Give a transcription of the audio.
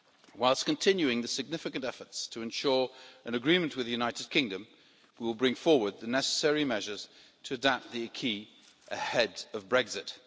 Whilst continuing the significant efforts to ensure an agreement with the United Kingdom, we will bring forward the necessary measures to adapt the acquis ahead of Brexit.